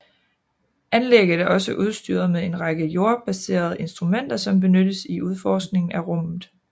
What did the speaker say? Anlægget er også udstyret med en række jordbaserede instrumenter som benyttes i udforskningen af rummet